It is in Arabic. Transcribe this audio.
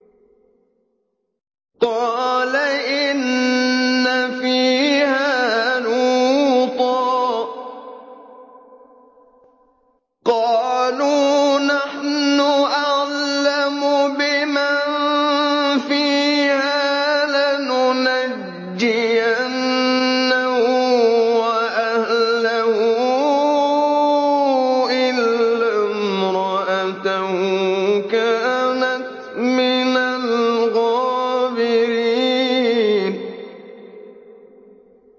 قَالَ إِنَّ فِيهَا لُوطًا ۚ قَالُوا نَحْنُ أَعْلَمُ بِمَن فِيهَا ۖ لَنُنَجِّيَنَّهُ وَأَهْلَهُ إِلَّا امْرَأَتَهُ كَانَتْ مِنَ الْغَابِرِينَ